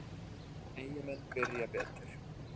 Eyjamenn byrja betur.